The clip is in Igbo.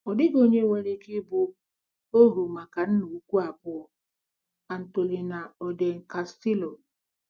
Ọ dịghị onye nwere ike ịbụ ohu maka nna ukwu abụọ. - ANTOLINA ORDEN CASTILLO